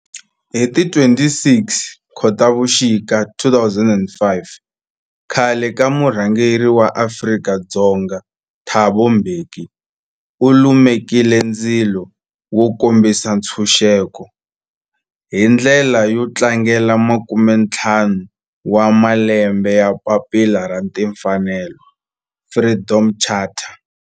Hi ti 26 Khotavuxika 2005 khale ka murhangeri wa Afrika-Dzonga Thabo Mbeki u lumekile ndzilo wo kombisa ntshuxeko, hi ndlela yo tlangela makume-ntlhanu wa malembe ya papila ra timfanelo, Freedom Charter.